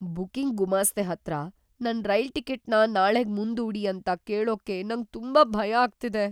Booking ಗುಮಾಸ್ತೆ ಹತ್ರ ನನ್ ರೈಲ್ ಟಿಕೆಟ್‌ನ ನಾಳೆಗ್ ಮುಂದೂಡಿ ಅಂತ ಕೇಳೋಕ್ಕೆ ನಂಗ್ ತುಂಬಾ ಭಯ ಆಗ್ತಿದೆ.